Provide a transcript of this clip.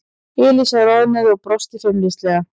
Elísa roðnaði og brosti feimnislega.